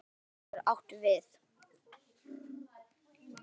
Fylgja getur átt við